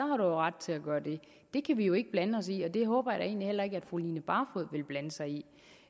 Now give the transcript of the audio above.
ret til at gøre det det kan vi jo ikke blande os i og det håber jeg da egentlig heller ikke at fru line barfod vil blande sig i